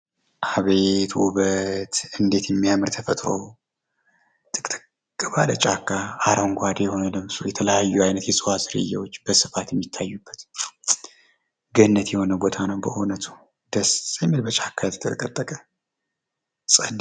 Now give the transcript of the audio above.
አቤት ውበት!!! እንዴት የሚያምር ተፈጥሮ ነው። ጥቅጥቅ ባለ ጫካ፣ አረንጓዴ የሆነ የተለያዩ አይነት የእጽዋት ዝርያዎች በስፋት የሚታዩበት ገነት የሆነ ቦታ ነው በእውነቱ። ደስ የሚል በጫካ የተጠቀጠቀ።